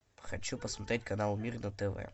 хочу посмотреть канал мир на тв